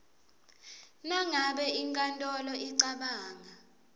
nangabe inkantolo icabanga